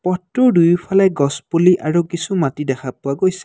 পথটোৰ দুয়োফালে গছ পুলি আৰু কিছু মাটি দেখা পোৱা গৈছে।